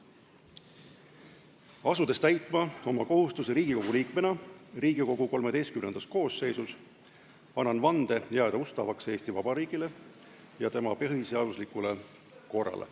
Asudes täitma oma kohustusi Riigikogu liikmena Riigikogu XIII koosseisus, annan vande jääda ustavaks Eesti Vabariigile ja tema põhiseaduslikule korrale.